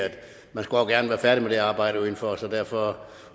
færdig med det arbejde udenfor så derfor